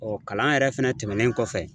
Ɔɔ kalan yɛrɛ fɛnɛ tɛmɛnen kɔfɛ